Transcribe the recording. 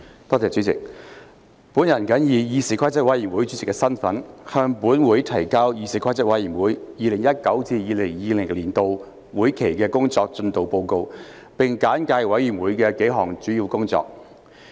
我謹以議事規則委員會主席的身份，向本會提交議事規則委員會 2019-2020 年度會期的工作進度報告，並簡介委員會的幾項主要工作。